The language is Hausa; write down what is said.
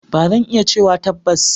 Ba zan iya cewa tabbas.